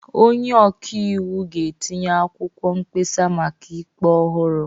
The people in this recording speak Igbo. Onye ọka iwu ga-etinye akwụkwọ mkpesa maka ikpe ọhụrụ.